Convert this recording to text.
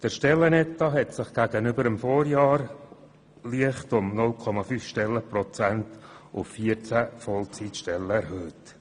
Der Stellenetat hat sich gegenüber dem Vorjahr um 0,5 Stellenprozente auf 14 Vollzeitstellen leicht erhöht.